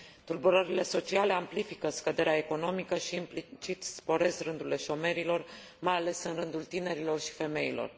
Tulburările sociale amplifică scăderea economică și, implicit, sporesc rândurile șomerilor, mai ales în rândul tinerilor și femeilor.